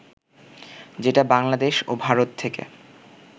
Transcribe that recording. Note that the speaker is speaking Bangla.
যেটা বাংলাদেশ ও ভারত থেকে